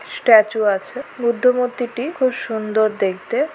Statue আছে বুদ্ধ মূর্তিটি খুব সুন্দর দেখতে।